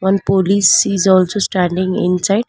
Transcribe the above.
One police is also standing inside.